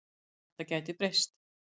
Þetta gæti breyst.